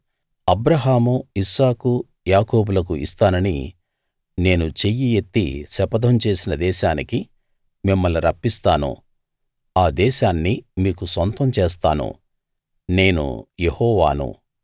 అబ్రాహాము Isaac యాకోబులకు ఇస్తానని నేను చెయ్యి ఎత్తి శపథం చేసిన దేశానికి మిమ్మల్ని రప్పిస్తాను ఆ దేశాన్ని మీకు సొంతం చేస్తాను నేను యెహోవాను